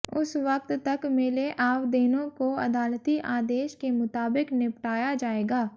उस वक्त तक मिले आवदेनों को अदालती आदेश के मुताबिक निपटाया जाएगा